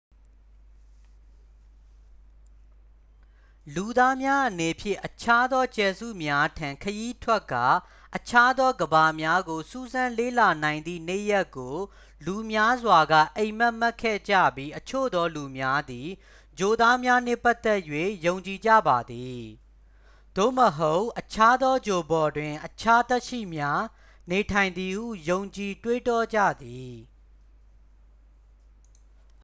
လူသားများအနေဖြင့် အခြားသောကြယ်စုများထံ ခရီးထွက်ကာ အခြားသောကမ္ဘာများကို စူးစမ်း လေ့လာနိုင်သည့် နေ့ရက်ကို လူများစွာက အိပ်မက်မက်ခဲ့ကြပြီး အချို့သောလူများသည် ဂြိုလ်သားများနှင့်ပတ်သက်၍ ယုံကြည်ကြပါသည် သို့မဟုတ် အခြားသော ဂြိုလ်ပေါ်တွင် အခြား သက်ရှိများ နေထိုင်သည်ဟု ယုံကြည် တွေးတောကြသည်